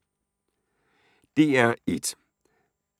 DR1